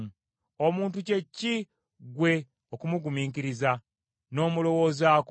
Omuntu kye ki ggwe okumugulumiza, n’omulowoozaako?